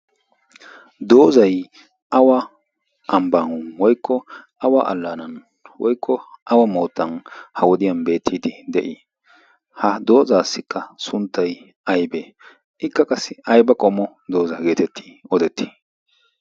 doozai awa ambbaaun woikko awa allaanan woikko awa moottan ha wodiyan beettiidi de7ii? ha doozaassikka sunttai aibee? ikka qassi aiba qomo dooza geetetti odettii?